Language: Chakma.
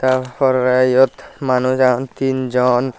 tar pore iyot manuj agon tin jon.